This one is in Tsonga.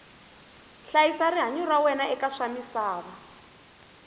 hlayisa rihanyu ra wena eka swamisava